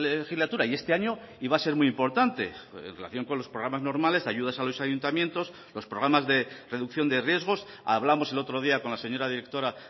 legislatura y este año iba a ser muy importante en relación con los programas normales ayudas a los ayuntamientos los programas de reducción de riesgos hablamos el otro día con la señora directora